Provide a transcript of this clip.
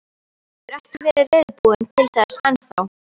Hann hefur ekki verið reiðubúinn til þess enn þá.